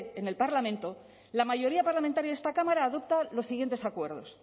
en el parlamento la mayoría parlamentaria de esta cámara adopta los siguientes acuerdos